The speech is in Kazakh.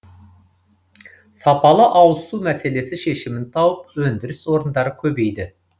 сапалы ауызсу мәселесі шешімін тауып өндіріс орындары көбейді